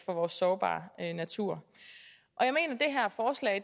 for vores sårbare natur